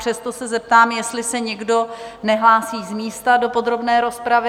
Přesto se zeptám, jestli se někdo nehlásí z místa do podrobné rozpravy?